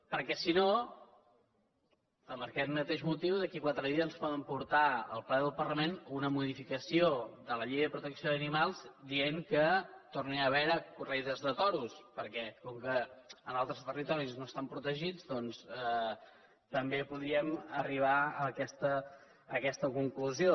perquè si no per aquest mateix motiu d’aquí a quatre dies ens poden portar al ple del parlament una modificació de la llei de protecció d’animals dient que tornin a haver hi corrides de toros perquè com que en altres territoris no estan protegits doncs també podríem arribar a aquesta conclusió